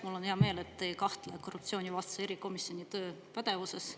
Mul on hea meel, et te ei kahtle korruptsioonivastase erikomisjoni töö pädevuses.